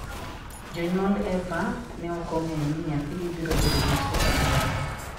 Jonyuol Eva ok ong'eyo ni nyathigi biro bedo dichwo kata dhako.